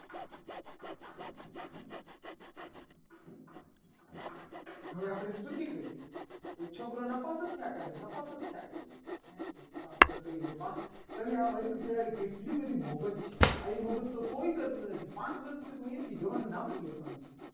હવે આપણે સ્તુતિ કરીએ એક છોકરો નતો. આવતો ન પણ શકતા જ કરીએ છીએ. તો આપણે એમ કહીએ અરે વાહ તમે વર્ગ પ્રત્યે આ કેટલી બધી મોહક છે. અહીં બધું તો કોઈ કરતું નથી. પાક કેવી રીતે અહીંયા થી જવાનું નામ જ લેતો નથી.